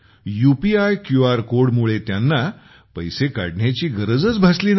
UPI QR कोडमुळे त्यांना पैसे काढण्याची गरजच भासली नाही